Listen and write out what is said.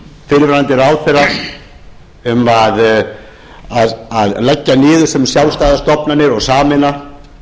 fyrrverandi ráðherra um að leggja niður sem sjálfstæðar stofnanir og sameina